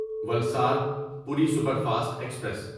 Valsad Puri superfast express